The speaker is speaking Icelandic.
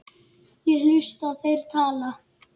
Ég hlusta, þeir tala.